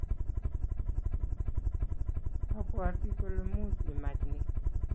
Abwati kole much imach ni